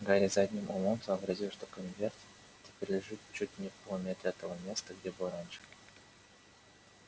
гарри задним умом сообразил что конверт теперь лежит чуть не в полуметре от того места где был раньше